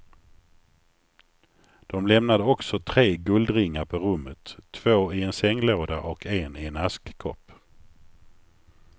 De lämnade också tre guldringar på rummet, två i en sänglåda och en i en askkopp.